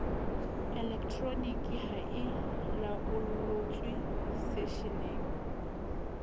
elektroniki ha e laollotswe setsheng